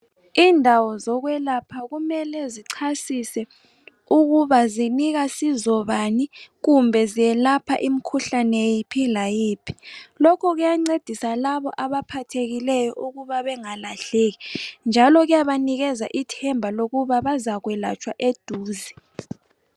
Indawo zokwelapha kumele zicasise ukuba zisinika sizo bani kumbe zelapha imikhuhlane yiphi layiphi lokhu kuyancedisa labo abaphathekileyo ukuba bengalahleki njalo kuyabanikeza ithemba ukuba bazakwelatshwa eduze.